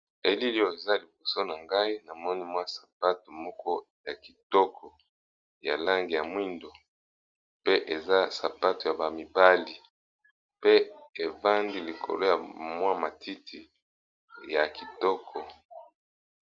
Elili oyo eza liboso nangai namoni mwa sapato moko yakitoko yalangi yamwindo pe sapato oyo eza ya bamibali pe batiye yango likolo ya matiti